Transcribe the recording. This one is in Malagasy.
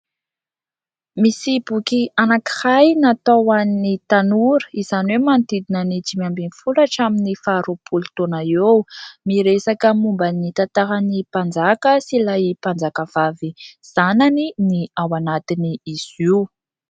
Misy boky anakiray natao hoan'ny tanora, izany hoe : manodidina ny dimy amby folo hatramin'ny faha roapolo taona eo. Miresaka momba ny tantaran'i Mpanjaka sy ilay Mpanjaka vavy zanany, ny ao anatin'izy io.